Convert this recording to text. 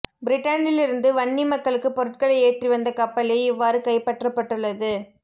பிரிட்டனில் இருந்து வன்னி மக்களுக்கு பொருட்களை ஏற்றிவந்த கப்பலே இவ்வாறு கைப்பற்றப்பட்டுள்ளது